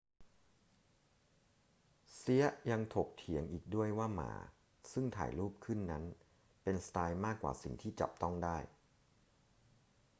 เซียะยังถกเถียงอีกด้วยว่าหม่าซึ่งถ่ายรูปขึ้นนั้นเป็นสไตล์มากกว่าสิ่งที่จับต้องได้